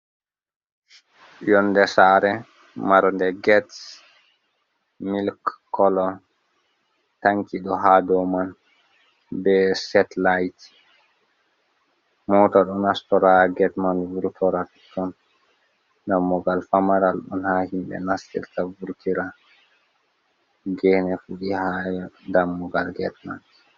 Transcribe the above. Yonde sare marde get milik kolo, tanki ɗo ha dou man be setlayit, mota ɗo nastora ha get man vurtora ton, dammugal famaral ɗon ha himɓe nastirta vurtira, gene fuɗi ha dammugal get man.